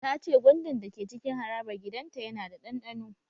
Ta ce gwandan da ke cikin harabar gidan ta yana da ɗanɗano